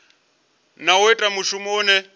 hana u ita mushumo une